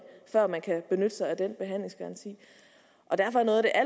før man kan benytte sig af den behandlingsgaranti derfor er noget af